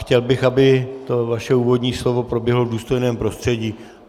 Chtěl bych, aby to vaše úvodní slovo proběhlo v důstojném prostředí.